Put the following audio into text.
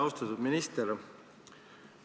Austatud minister!